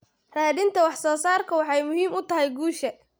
Raadinta wax soo saarku waxay muhiim u tahay guusha.